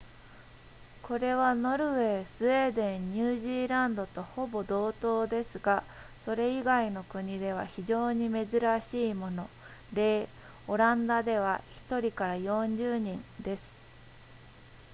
これはノルウェースウェーデンニュージーランドとほぼ同等ですがそれ以外の国では非常に珍しいもの例オランダでは 1～40 人です